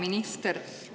Hea minister!